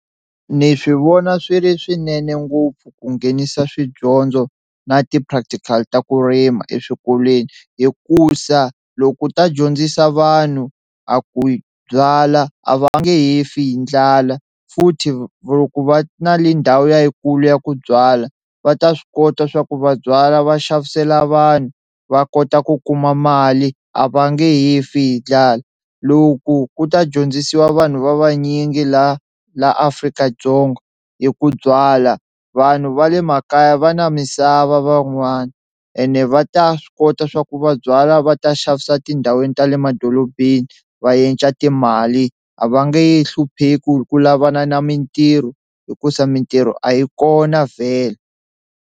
Ni swi vona swi ri swinene ngopfu ku nghenisa swidyondzo na ti-practical ta ku rima eswikolweni hikusa loko u ta dyondzisa vanhu a ku byala a va nge he fi hi ndlala futhi loko va na le ndhawu yikulu ya ku byala va ta swi kota swa ku va byala va xavisela vanhu va kota ku kuma mali a va nge he fi hi ndlala, loko ku ta dyondzisiwa vanhu va vanyingi la la Afrika-Dzonga hi ku byala vanhu va le makaya va na misava van'wana ene va ta swi kota swa ku va byala va ta xavisa etindhawini ta le madolobeni va endla timali a va nge he hlupheki ku lavana na mintirho hikusa mintirho a yi kona vhele.